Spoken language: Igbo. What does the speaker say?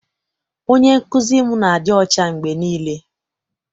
Onye nkụzi m na-adị ọcha mgbe niile.